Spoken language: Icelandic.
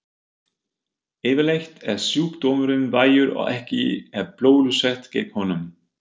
Yfirleitt er sjúkdómurinn vægur og ekki er bólusett gegn honum.